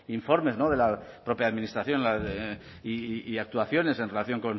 visto informes de la propia administración la de y actuaciones en